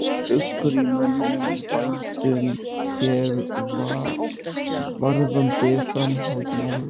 Er uggur í mönnum, í bændum hér varðandi framhald mála?